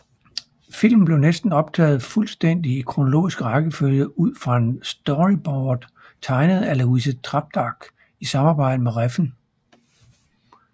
Filmen blev næsten optaget fuldstændigt i kronologisk rækkefølge ud fra storyboards tegnet af Louise Trampedach i samarbejde med Refn